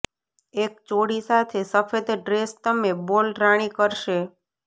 એક ચોળી સાથે સફેદ ડ્રેસ તમે બોલ રાણી કરશે